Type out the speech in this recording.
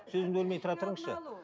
сөзімді бөлмей тұра тұрыңызшы